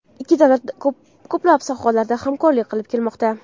Ikki davlat ko‘plab sohalarda hamkorlik qilib kelmoqda.